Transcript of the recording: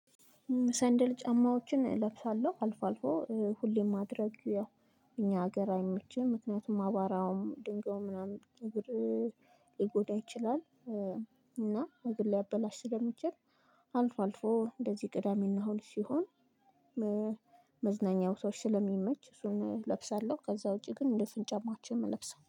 ሰንደል ጫማዎችን እለብሳለሁ አልፎ አልፎ ሁሌም ማድረግ ያው እኛ ሀገር አይመችም ምክንያቱም አባራውም ድንጋዩም ምናምን እግር ሊጎዳ ይችላል። እና እግር ሊያበላሽ ስለሚችል አልፎ አልፎ እንደዚህ ቅዳሜና እሁድ ሲሆን መዝናኛ ቦታዎች ስለሚመች እሱን እለብሳለሁ። ከዛ ውጪ ግን ድፍን ጫማዎችን ነው የምለብሰው